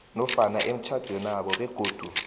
nofana emitjhadwenabo begodu